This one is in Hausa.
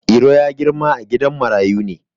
Iro ya girma a gidan marayu ne.